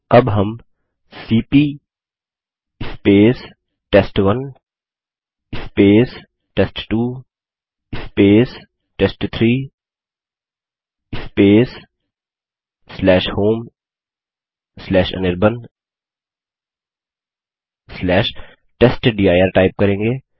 अब हम C P test one test two test three homeanirbantestdir type करेंगे